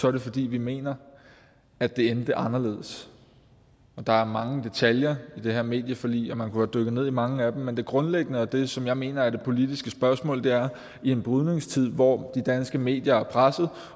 er det fordi vi mener at det endte anderledes der er mange detaljer i det her medieforlig og man kunne have dykket ned i mange af dem men det grundlæggende og det som jeg mener er det politiske spørgsmål er i en brydningstid hvor de danske medier er presset